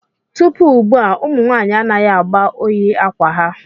Tupu ugbu a, ụmụ nwanyị anaghị agba oyi akwa ha.